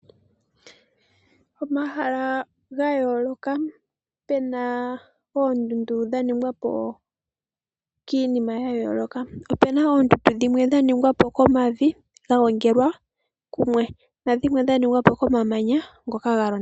Omahala ga yooloka, pe na oondundu dha ningwa po kiinima ya yooloka. Opu na oondundu dhimwe dha ningwa po komavi ga gongelwa kumwe nadhimwe dha ningwa po komamanya ngoka ga londathana.